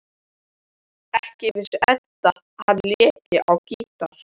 Ekki vissi Edda að hann léki á gítar.